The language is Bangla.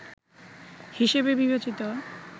হিসেবে বিবেচিত